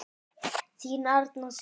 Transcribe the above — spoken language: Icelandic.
Þín Arna Sif.